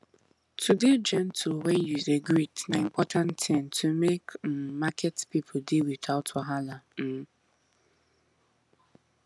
to dey gentle when you dey greet na important tin to make um market people dey without wahala um